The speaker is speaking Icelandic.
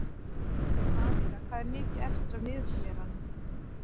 Anika, hvað er mikið eftir af niðurteljaranum?